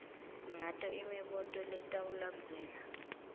ngato imibuto letawulandzela